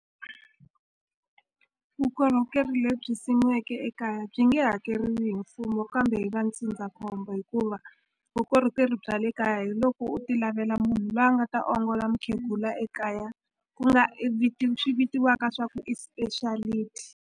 Vukorhokeri lebyi simiweke ekaya byi nge hakeriwi hi mfumo kambe hi va ndzindzakhombo hikuva vukorhokeri bya le kaya hi loko u ti lavela munhu lwa nga ta ongola mukhegula ekaya ku nga swi vitiwaka swa ku i speciality.